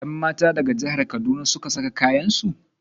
Yanmata daga jahar kaduna suka saka kayansu.